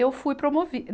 Eu fui promovi